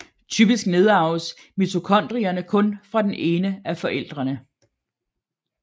Typisk nedarves mitokondrierne kun fra den ene af forældrene